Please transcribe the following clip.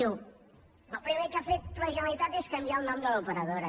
diu el primer que ha fet la generalitat és canviar el nom de l’operadora